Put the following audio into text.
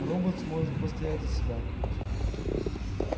роботс может постоять за себя